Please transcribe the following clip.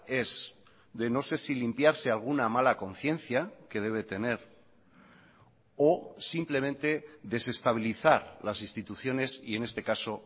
es de no sé si limpiarse alguna mala conciencia que debe tener o simplemente desestabilizar las instituciones y en este caso